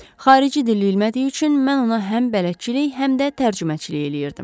Xarici dil bilmədiyi üçün mən ona həm bələdçilik, həm də tərcüməçilik eləyirdim.